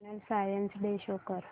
national science day show कर